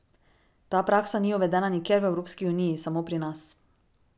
Ta praksa ni uvedena nikjer v Evropski uniji, samo pri nas.